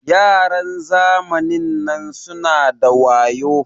Yaran zamanin nan suna da wayo.